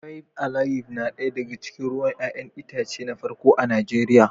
Faib alayif na ɗaya daga cikin ruwan 'ya'yan itace na farko a Najeriya.